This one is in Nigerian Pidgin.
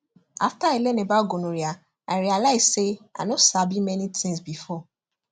after i learn about gonorrhea i realize say i no sabi many things before